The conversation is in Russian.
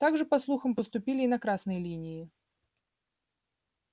так же по слухам поступили и на красной линии